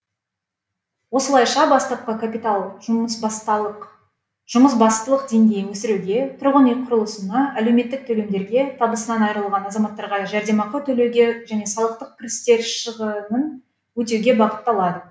осылайша бастапқы капитал жұмысбастылық деңгейін өсіруге тұрғын үй құрылысына әлеуметтік төлемдерге табысынан айырылған азаматтарға жәрдемақы төлеуге және салықтық кірістер шығынын өтеуге бағытталады